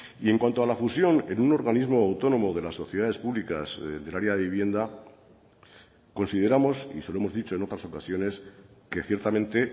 y en cuanto a la fusión en un organismo autónomo de las sociedades públicas del área de vivienda consideramos y se lo hemos dicho en otras ocasiones que ciertamente